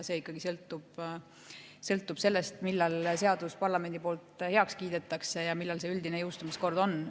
See ikkagi sõltub sellest, millal seadus parlamendis heaks kiidetakse ja milline see üldine jõustumiskord on.